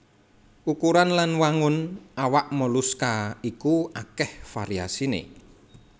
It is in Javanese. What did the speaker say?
Ukuran lan wangun awak moluska iku akèh variasiné